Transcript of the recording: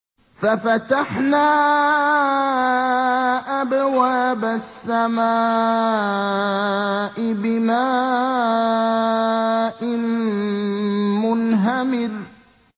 فَفَتَحْنَا أَبْوَابَ السَّمَاءِ بِمَاءٍ مُّنْهَمِرٍ